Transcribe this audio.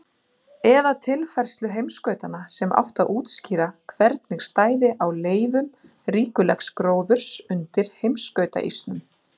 eða tilfærslu heimskautanna, sem átti að útskýra hvernig stæði á leifum ríkulegs gróðurs undir heimskautaísnum.